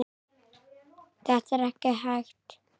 Þetta er ekki hægt.